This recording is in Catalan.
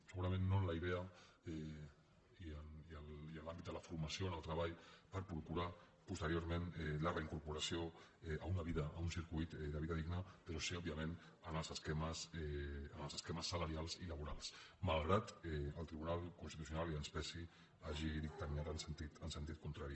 segurament no amb la idea i amb l’àmbit de la formació en el treball per procurar posteriorment la reincoporació a un circuit de vida digna però sí òbviament amb els esquemes salarials i laborals malgrat que el tribunal constitucional i que ens pesi hagi dictaminat en sentit contrari